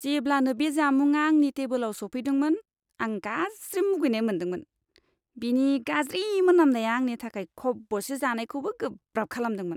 जेब्लानो बे जामुंआ आंनि टेबोलाव सौफैदोंमोन, आं गाज्रि मुगैनाय मोन्दोंमोन। बेनि गाज्रि मोनामनाया आंनि थाखाय खब'से जानायखौबो गोब्राब खालामदोंमोन।